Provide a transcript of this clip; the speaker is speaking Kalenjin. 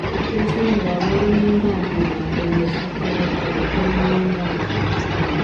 Tos nee kabarunoik ap miondop penosikorotol eng wendotet?